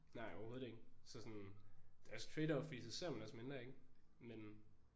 Nej overhovedet ikke så sådan det er også trade-off fordi så ser man også mindre ik men